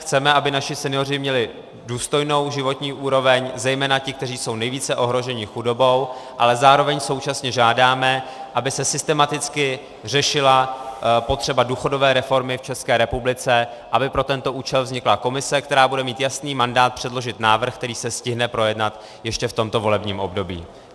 Chceme, aby naši senioři měli důstojnou životní úroveň, zejména ti, kteří jsou nejvíce ohroženi chudobou, ale zároveň současně žádáme, aby se systematicky řešila potřeba důchodové reformy v České republice, aby pro tento účel vznikla komise, která bude mít jasný mandát předložit návrh, který se stihne projednat ještě v tomto volebním období.